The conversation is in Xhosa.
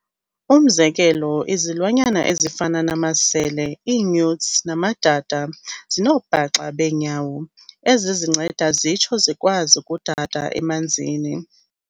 Umzekelo, izilwanyana ezifana namasele, ii-newts, namadada, zinoobhaxa beenyawo ezizinceda zitsho zikwazi ukudada emanzini.